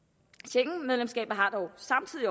schengenmedlemskabet har dog samtidig